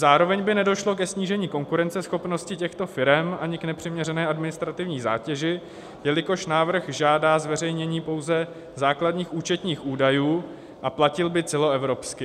Zároveň by nedošlo ke snížení konkurenceschopnosti těchto firem ani k nepřiměřené administrativní zátěži, jelikož návrh žádá zveřejnění pouze základních účetních údajů a platil by celoevropsky.